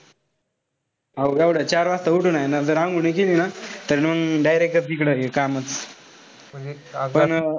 एवढं चार वाजता उठून हाये ना जर अंघोळ नाई केली ना तर मंग directly तिकडं हे काय म्हणता. पण,